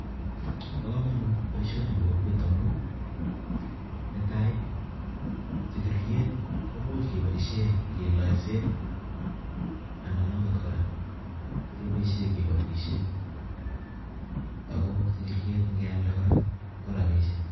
Boo komonut boisoni eng kokwet amuu nee taii sikiriet komuch kee Boise kee laisee anan kora kee boishei am ko sikiriet ngii aldee ko rabishek